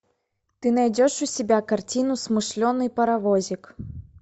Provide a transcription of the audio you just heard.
ты найдешь у себя картину смышленый паровозик